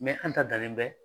Mɛ an ta dalen bɛ